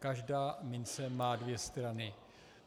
Každá mince má dvě strany.